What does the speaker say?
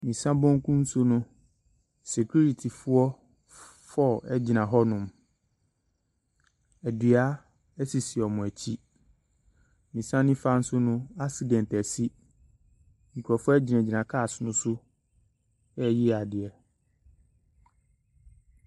Me nsa benkum so no, securityfoɔ four egyina hɔ nom. Dua esisi wɔn akyi. Me nsa nifa so no, accident asi. Nkorɔfoɔ gyinagyina car no so ɛreyi adeɛ.